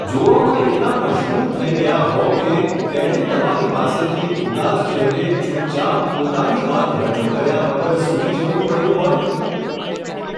જોવામાં એટલા મશગૂલ થઈ ગયા હો કે, તેણે તમારી પાસેથી ઉદાસ ચહેરે ચૂપચાપ પોતાની વાત રજૂ કર્યા વગર સૂઈ જવું પડ્યું હોય ?.